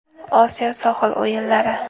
Osiyo sohil o‘yinlari.